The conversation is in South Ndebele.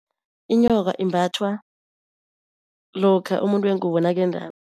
Inyoka imbathwa lokha umuntu wengubo nakendako.